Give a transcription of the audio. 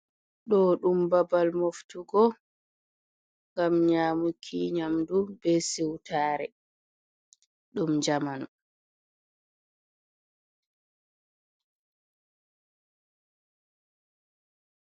Ɗo ɗum babal moftugo ngam nyamuki nyamdu be seutare dum jamano.